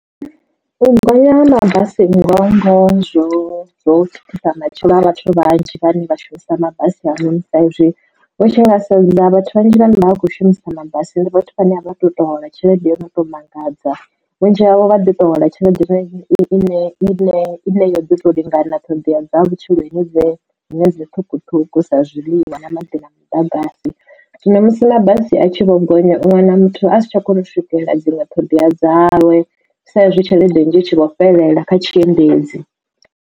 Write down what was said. U gonya nga mabasi ngoho ngoho zwo thithisa matshilo a vhathu vhanzhi vhane vha shumisa mabasi ha a noni sa izwi vho tshi nga sa vhathu vhanzhi vhane vha vha khou shumisa mabasi ndi vhathu vhane a vha tu to hola tshelede yo to mangadza. Vhunzhi havho vha ḓi to hola tshelede ine i ne i ne yo ḓi to lingana ṱhoḓea dza vhutshilo ine dzine dzi ṱhukhuṱhukhu sa zwiḽiwa na maḓi na muḓagasi. Zwino musi mabasi a tshi vho gonya u wana muthu a si tsha kona u swikelela dziṅwe ṱhoḓea dzawe saizwi tshelede nnzhi itshi vho fhelela kha tshiendedzi.